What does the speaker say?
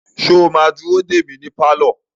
Sọ ma dúró dè mí ní pálọ̀?